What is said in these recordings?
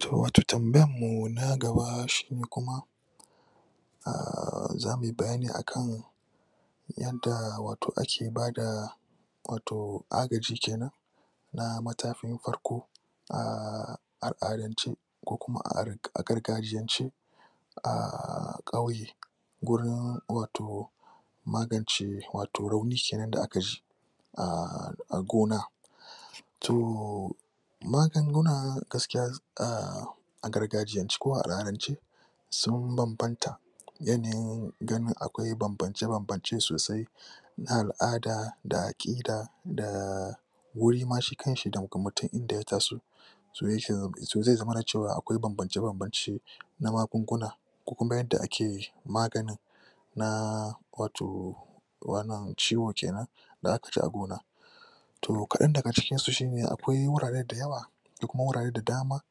To wato tambayarmu na gaba shine kuma a za mu yi bayani a kan yanda wato ake bada wato agaji ke nan na matakin farko a a''adance ko kuma a gargajiyance. a ƙauye gurin wato magance rauni ke nan da aka ji a gona to magunguna gaskiya a a gargajiyance ko a al'adance sun banbanta yanayin ganin akwai bambance-bambance sosai na al'ada da aƙida da wuri ma shi kanshi da mutum inda ya taso so zai zamana cewa akwai bambance-bambance na magunguna ko kunga yadda ake maganin na wato wannan ciwo ke nan da a ka ji a gona. To kaɗan daga cikinsu shi ne akwai wurare da yawa da kuma wurare da dama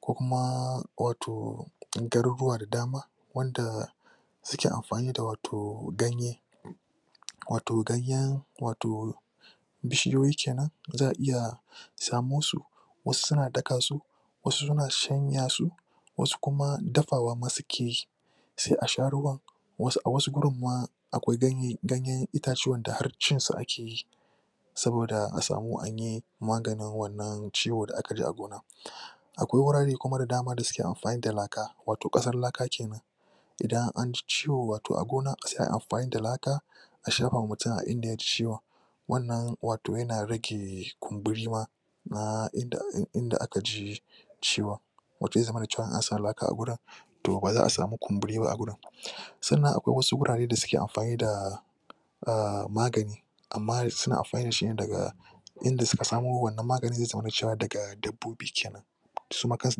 ko kuma wato garuruwa da dama wanda suke amfani da wato ganye wato ganyen wato bishiyoyi ke nan za a iya samo su wasu suna daka su wasu suna shanya su wasu kuma dafawa ma suke sai a sha ruwan a wasu gurin ma akwai ganyen itatuwan da har cin su ake yi. saboda a samu a yi maganin ciwon da aka yi a gona. akwai wurare da dama da suke amfani da laka wato ƙasar laka ke nan. idan an ji ciwo wato a gona sai a yi amfani da laka a shafa ma mutum a inda ya ji ciwon wannan wato yana rage kumburi ma na inda aka ji ciwon wato zai zamana cewa in an sa laka a wurin to ba za samu kumburi ba a wurin. Sannan akwai wasu gurare da suke amfani da a magani. Amma suna amfani da shi daga inda suka samo wannan maganin zai zamana cewa daga dabbobi ke nan. su ma kansu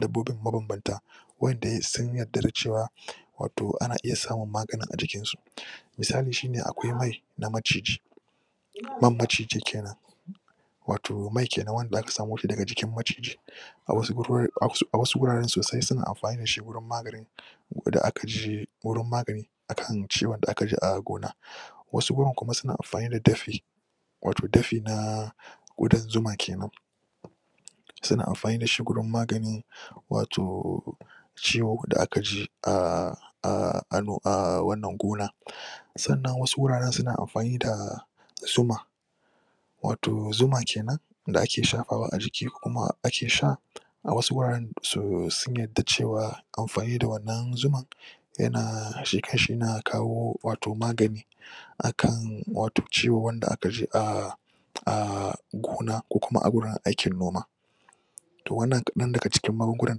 dabbobin mabambanta waɗanda sun yadda da cewa wato ana iya samun maganin a jikinsu. Misali shi ne akwai mai na maciji. Man maciji ke nan wato mai kenan wanda aka samo shi daga jikin maciji. a wasu gurare sosai suna amfani da shi gurin magani. da aka je wurin maganin akan ciwon da aka ji a gona. wasu gurin kuma suna amfani da dafi wato dafi na ƙudan zuma ke nan suna amfani da shi wajen magani wato ciwo da aka ji a a a a wannan gona sannan wasu wuraren suna amfani da zuma wato zuma ke nan da ake shafawa ajiki kuma ake sha a wasu wuraren sun yadda cewa amfani da wannan zumar yana shi kanshi yana kawo magani a kan ciwo wanda aka ji a a gona ko kuma awurin aikin noma. to wannan kaɗan daga cikin magungunan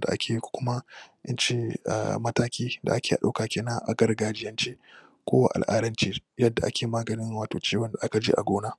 da ake yi ko kuma in ce matakin da ake ɗauka ke nan a gargajiyance ko a al'adance yadda ake maganin ciwon da aka ji a gona.